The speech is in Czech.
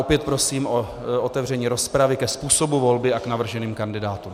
Opět prosím o otevření rozpravy ke způsobu volby a k navrženým kandidátům.